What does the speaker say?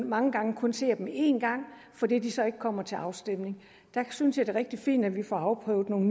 mange gange kun ser dem én gang fordi de så ikke kommer til afstemning der synes jeg det er rigtig fint at vi får afprøvet nogle